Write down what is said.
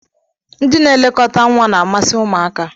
Ndị na-elekọta nwa na-amasị ụmụaka.